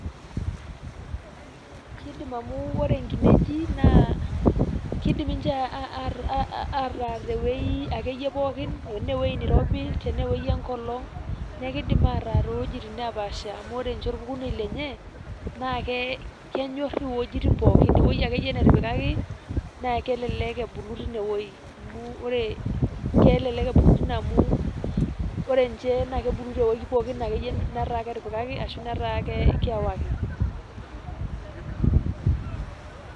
kidim amu ore nkineji naa kidim ninche ataa tewuei akeyie pookin . tenaa ewuei neirobi ,tenee ewuei enkolong . niaku kidim ataa towuejitin nepaasha amu ore ninche orpukunet lenye naa ke kenyor iwuejitin pookin . ewuei akeyie netipikaki naa kelelek ebulu time wuei amu ore kelelek ebulu amu ore nchee kebulu tewuei pookin akeyie netaa ketipikaki ashu netaa kewaiki.